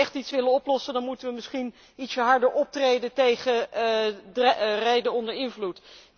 Als wij echt iets willen oplossen moeten wij misschien iets harder optreden tegen rijden onder invloed.